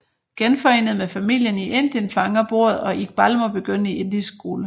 Genforenet med familien i Indien fanger bordet og Iqbal må begynde i indisk skole